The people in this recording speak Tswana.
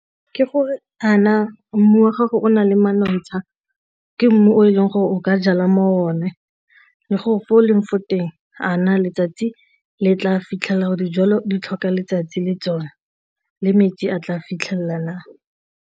Ke gore a na mmu wa gago o na le manontsha, ke mmu o e leng gore o ka jala mo one le gore fa o leng fo teng a na letsatsi le tla fitlhelela gore dijalo di tlhoka letsatsi le tsona le metsi a tla fitlhelela .